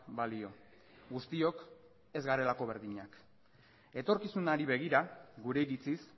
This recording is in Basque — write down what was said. balio guztiok ez garelako berdinak etorkizunari begira gure iritziz